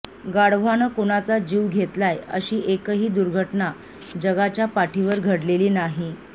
गाढवानं कुणाचा जीव घेतलाय अशी एकही दुर्घटना जगाच्या पाठीवर घडलेली नाही